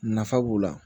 Nafa b'o la